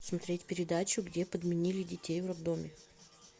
смотреть передачу где подменили детей в роддоме